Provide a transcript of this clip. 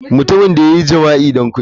Mutumin da ya yi jima'i don kudi.